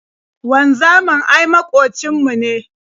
Wanzamin ai maƙocin mu ne.